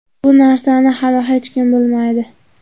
Bu narsani hali hech kim bilmaydi.